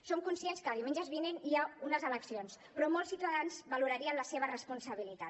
som conscients que a diumenges vinents hi ha unes eleccions però molts ciutadans valorarien la seva responsabilitat